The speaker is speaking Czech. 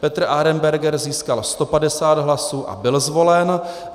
Petr Arenberger získal 150 hlasů a byl zvolen.